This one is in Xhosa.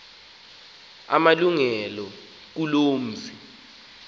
amalungelo kuloo mzi